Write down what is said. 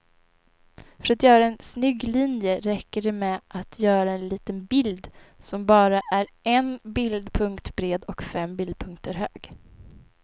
För att göra en snygg linje räcker det med att göra en liten bild som bara är en bildpunkt bred och fem bildpunkter hög.